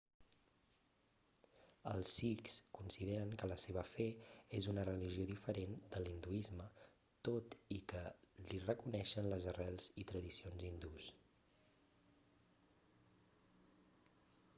els sikhs consideren que la seva fe és una religió diferent de l'hinduisme tot i que li reconeixen les arrels i tradicions hindús